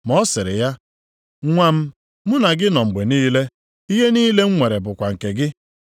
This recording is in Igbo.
“Ma ọ sịrị ya, ‘Nwa m, mụ na gị nọ mgbe niile, ihe niile m nwere bụkwa nke gị.